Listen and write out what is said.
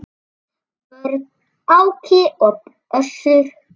Börn: Áki og Össur.